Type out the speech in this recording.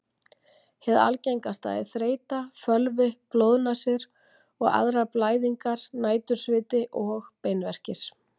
Hið algengasta er þreyta, fölvi, blóðnasir og aðrar blæðingar, nætursviti og beinverkir.